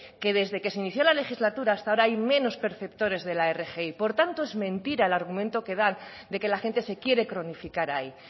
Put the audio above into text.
que desde que se inició la legislatura hasta ahora hay menos perceptores de la rgi por tanto es mentira el argumento que dan de que la gente se quiere cronificar ahí